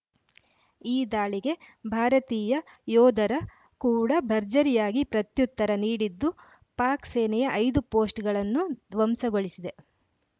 ಈ ದಾಳಿಗೆ ಭಾರತೀಯ ಯೋಧರ ಕೂಡಾ ಭರ್ಜರಿಯಾಗಿ ಪ್ರತ್ಯುತ್ತರ ನೀಡಿದ್ದು ಪಾಕ್‌ ಸೇನೆಯ ಐದು ಪೋಸ್ಟ್‌ಗಳನ್ನು ಧ್ವಂಸಗೊಳಿಸಿದೆ